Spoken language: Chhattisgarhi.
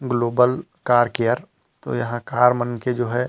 ग्लोबल कार केयर तो यहाँ कार मन के जो है।